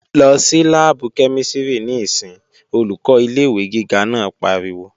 Lọ sí láàbù kẹ́mísìrì níìsín! Olùkọ́ ilé-ìwé gíga náà pariwo